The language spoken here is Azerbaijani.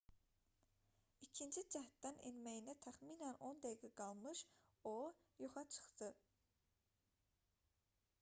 i̇kinci cəhddən enməyinə təxminən 10 dəqiqə qalmış o yoxa çıxdı